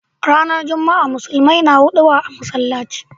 Ranar juma'a musulmai na huduba a masallaci.